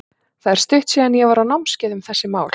Það er stutt síðan að ég var á námskeiði um þessi mál.